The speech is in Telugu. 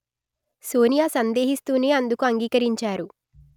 సోనియా సందేహిస్తూనే అందుకు అంగీకరించారు